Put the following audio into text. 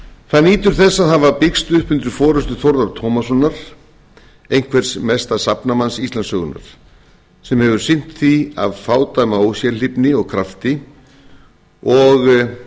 það nýtur þess að hafa byggst upp undir forustu þórðar tómassonar einhvers mesta safnamanns íslandssögunnar sem hefur sinnt því af fádæma ósérhlífni og krafti og